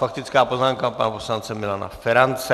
Faktická poznámka pana poslance Milana Ferance.